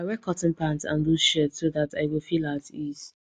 i wear cotton pant and loose shirt so that i go feel at ease